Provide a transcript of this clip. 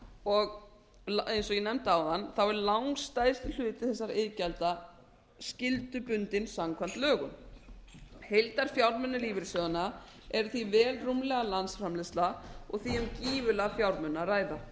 og eins og eg nefndi áðan er langstærsti hluti þessara iðgjalda skyldubundinn samkvæmt lögum heildarfjármunir lífeyrissjóðanna eru því vel rúmlega landsframleiðsla og því um gífurlega fjármuni að ræða